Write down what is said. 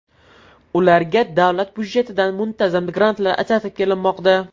Ularga davlat budjetidan muntazam grantlar ajratib kelinmoqda.